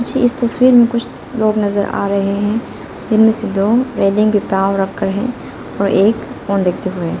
मुझे इस तस्वीर में कुछ लोग नजर आ रहे हैं जिनमें से दो रेलिंग पे पाँव रखकर है और एक फोन देखते हुए है।